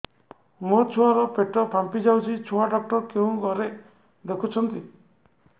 ମୋ ଛୁଆ ର ପେଟ ଫାମ୍ପି ଯାଉଛି ଛୁଆ ଡକ୍ଟର କେଉଁ ଘରେ ଦେଖୁ ଛନ୍ତି